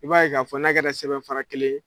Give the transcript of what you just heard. I b'a ye k'a fɔ na kɛra sɛbɛnfara kelen ye